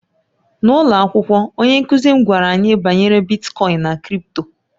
N'ụlọ akwụkwọ, onye nkụzi m gwara anyị banyere Bitkoin na crị̀pto